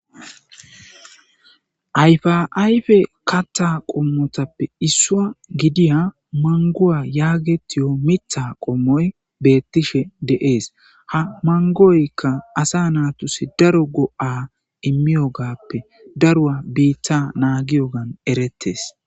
ayfa ayfe kattha qommotappe issuwa gidiya manguwa yaa getiyo mitha qommoy beettishe deees ha mangoykka asa natusi daro go7a immiyogappe daruwa biitta naagiyogan erettes